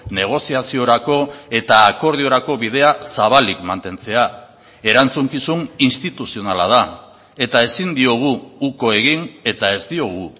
negoziaziorako eta akordiorako bidea zabalik mantentzea erantzukizun instituzionala da eta ezin diogu uko egin eta ez diogu